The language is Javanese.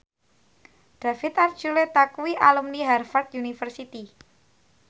David Archuletta kuwi alumni Harvard university